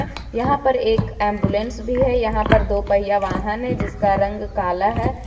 यहां पर एक एंबुलेंस भी है यहां पर दो पहिया वाहन है जिसका रंग काला है।